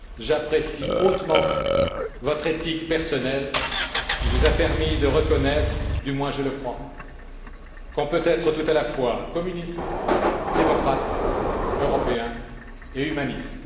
J'apprécie hautement votre éthique personnelle, qui vous a permis de reconnaître du moins je le crois qu'on peut être tout à la fois communiste, démocrate, Européen et humaniste.